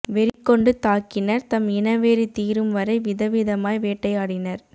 வெறிகொண்டு தாக்கினர் தம் இனவெறி தீரும் வரை விதம் விதமாய் வேட்டையாடினர்